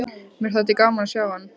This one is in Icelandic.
Mér þætti gaman að sjá hann.